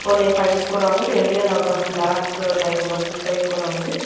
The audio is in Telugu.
కొన్ని ఫైల్స్ కూడా ఉన్నాయ్ ఇక్కడ ఇండియన్ ఒక ఫ్లాగ్ టైప్ ఒక స్టిక్కరింగ్ కుడా ఉంది.